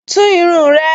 Tún irun rẹ!